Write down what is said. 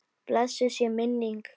Blessuð sé minning góðs manns.